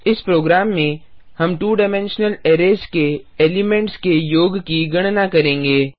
इस प्रोग्राम में हम 2 डाइमेंशनल अरै के एलिमेंट्स के योग की गणना करेंगे